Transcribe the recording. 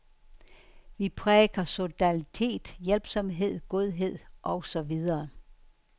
Vi præker solidaritet, hjælpsomhed, godhed og så videre.